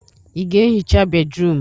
Ị ga-ehicha bédrụum?